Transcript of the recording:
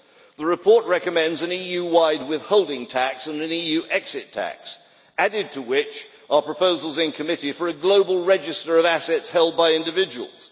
The report recommends an EU wide withholding tax and an EU exit tax, added to which are proposals in committee for a global register of assets held by individuals.